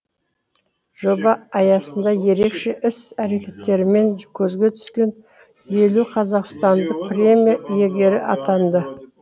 жоба аясында ерекше іс әрекеттерімен көзге түскен елу қазақстандық премия иегері атанды